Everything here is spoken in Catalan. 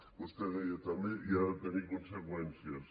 vostè deia també i ha de tenir conseqüències